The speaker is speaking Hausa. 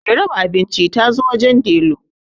Mai raba abinci ta zo wajen Delu